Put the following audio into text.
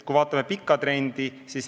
Vaatame pikka trendi.